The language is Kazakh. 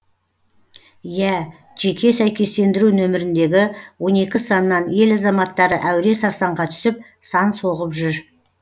иә жеке сәйкестендіру нөміріндегі он екі саннан ел азаматтары әуре сарсаңға түсіп сан соғып жүр